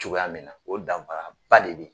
Cogoya min na o danfara ba de bɛ